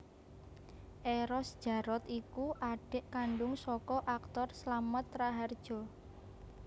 Eros Djarot iku adik kandung saka aktor Slamet Rahardjo